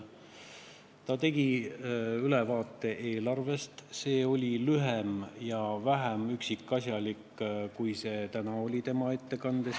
Ta tegi eelarvest ülevaate, mis oli lühem ja vähem üksikasjalik kui tema tänane ettekanne.